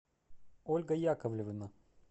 ольга яковлевна